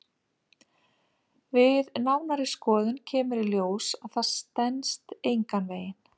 Við nánari skoðun kemur í ljós að það stenst engan veginn.